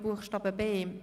Buchstabe b.